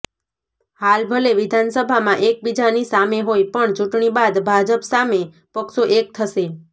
હાલ ભલે વિધાનસભામાં એક બીજાની સામે હોય પણ ચૂંટણી બાદ ભાજપ સામે પક્ષો એક થશે